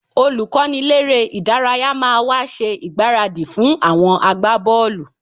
Olùkọ́niléré-ìdárayá máa wá ṣe ìgbáradì fún àwọn agbábọ́ọ̀lù